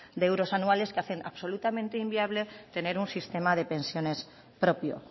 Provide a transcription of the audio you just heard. de euros anuales que hacen absolutamente inviable tener un sistema de pensiones propio